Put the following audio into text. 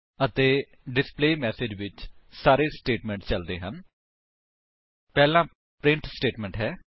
ਅਤੇ ਡਿਸਪਲੇਮੈਸੇਜ ਵਿੱਚ ਸਾਰੇ ਸਟੇਟਮੇਂਟ ਚਲਦੇ ਹਨ ਪਹਿਲਾ ਪ੍ਰਿੰਟ ਸਟੇਟਮੇਂਟ ਹੈ